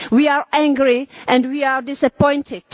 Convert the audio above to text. We are angry and we are disappointed.